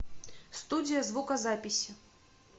студия звукозаписи